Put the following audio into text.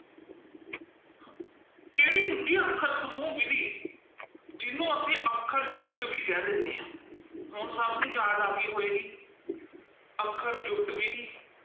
ਕਿਹੜੀ ਹੁੰਦੀ ਹੈ ਅੱਖਰ ਸਮੂਹ ਵਿੱਧੀ, ਜਿਹਨੂੰ ਅਸੀਂ ਅੱਖਰ ਜੁੱਟ ਵੀ ਕਹਿ ਦਿੰਦੇ ਹਾਂ, ਹੁਣ ਸਭ ਨੂੰ ਯਾਦ ਆ ਗਈ ਹੋਏਗੀ ਅੱਖਰ ਜੁੱਟ ਵਿੱਧੀ।